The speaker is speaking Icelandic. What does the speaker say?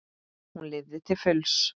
Hún lifði til fulls.